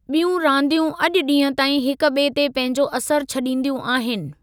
ॿियूं रानदियूं अॼु ॾींहं ताईं हिकु ॿिए ते पंहिंजो असरु छॾींदियूं आहिनि।